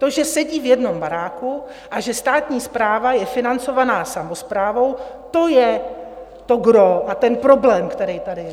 To, že sedí v jednom baráku a že státní správa je financovaná samosprávou, to je to gros a ten problém, který tady je.